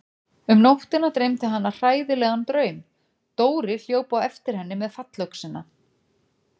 Um nóttina dreymdi hana hræðilegan draum: Dóri hljóp á eftir henni með fallöxina.